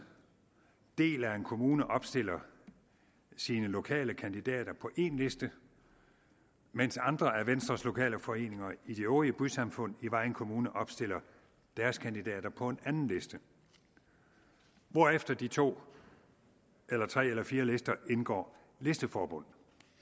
del af en kommune opstiller sine lokale kandidater på én liste mens andre af venstres lokale foreninger i de øvrige bysamfund i vejen kommune opstiller deres kandidater på en anden liste hvorefter de to eller tre eller fire lister indgår listeforbund